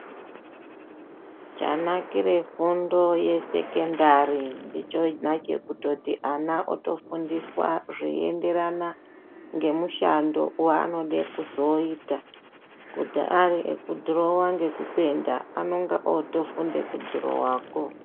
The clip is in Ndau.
Chanakire fundo yesecondary ndechekuti ana otofundiswa zvinoenderana nemishando wanoda kuzoita kuti ariekudhirowa nekupenda anenge ofundira kudhirowako.